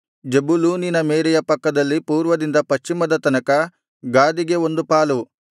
ಜೆಬುಲೂನಿನ ಮೇರೆಯ ಪಕ್ಕದಲ್ಲಿ ಪೂರ್ವದಿಂದ ಪಶ್ಚಿಮದ ತನಕ ಗಾದಿಗೆ ಒಂದು ಪಾಲು